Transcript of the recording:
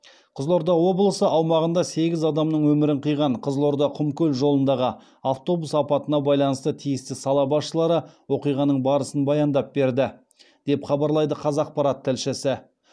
қызылорда облысы аумағында сегіз адамның өмірін қиған қызылорда құмкөл жолындағы автобус апатына байланысты тиісті сала басшылары оқиғаның барысын баяндап берді деп хабарлайды қазақпарат тілшісі